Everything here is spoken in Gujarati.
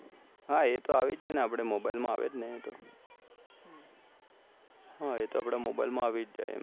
હા એ તો આવી જ જાય ને આપડે mobie માં આવે જ ને એ તો